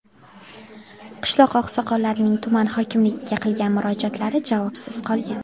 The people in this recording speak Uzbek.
Qishloq oqsoqollarining tuman hokimligiga qilgan murojaatlari javobsiz qolgan.